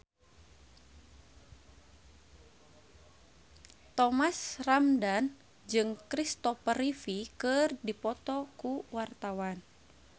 Thomas Ramdhan jeung Christopher Reeve keur dipoto ku wartawan